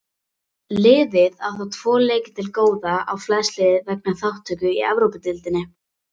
Liðið á þó tvo leiki til góða á flest lið vegna þátttöku í Evrópudeildinni.